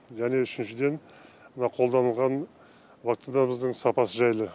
және үшіншіден мына қолданылған вакцинамыздың сапасы жайлы